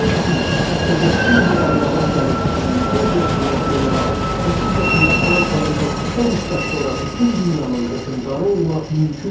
Kiçik, hətta yoxsul bir ailədən gəlib 24 yaşında general, 30 yaşında Fransanın və qısa müddət sonra bütün dünyanın hökmdarı olmaq mümkündür.